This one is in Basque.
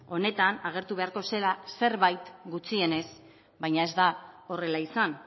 honetan agertu beharko zela zerbait gutxienez baina ez da horrela izan